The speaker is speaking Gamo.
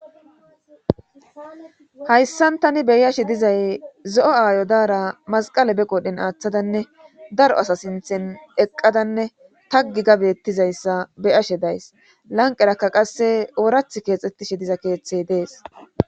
Hayssan tani beyashe dizay zo'o aayo daara masqale be qodhen aaththadanne daro asa sinthen eqqadanne taggi gabettizayssa beyashe days lanqerakka qasse oorath keexxettishe diza keeththey dees.